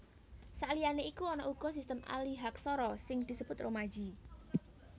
Saliyané iku ana uga sistem alihaksara sing disebut romaji